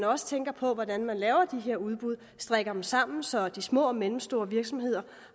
også tænke på hvordan man laver de her udbud strikke dem sammen så de små og mellemstore virksomheder